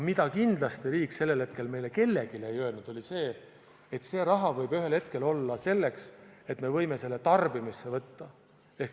Aga kindlasti riik sellel hetkel meile kellelegi ei öelnud, et see raha võib ühel hetkel olla selline, et me võime selle tarbimisse võtta.